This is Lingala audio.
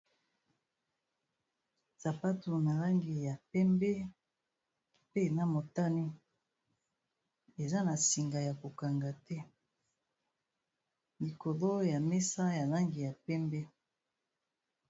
Sapatu na langi ya pembe pe na motani ,eza na singa ya ko kanga te likolo ya mesa ya langi ya pembe.